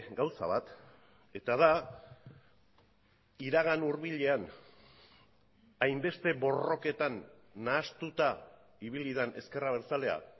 gauza bat eta da iragan hurbilean hainbeste borroketan nahastuta ibili den ezker abertzalea